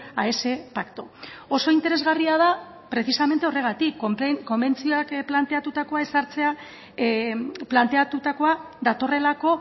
a ese pacto oso interesgarria da precisamente horregatik konbentzioak planteatutakoa ezartzea planteatutakoa datorrelako